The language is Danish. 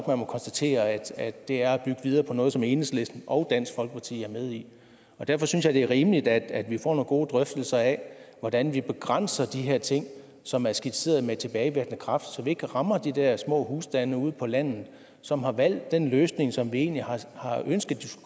man må konstatere at det er at bygge videre på noget som enhedslisten og dansk folkeparti er med i derfor synes jeg at det er rimeligt at vi får nogle gode drøftelser af hvordan vi begrænser de her ting som er skitseret med tilbagevirkende kraft så vi ikke rammer de der små husstande ude på landet som har valgt den løsning som vi egentlig har ønsket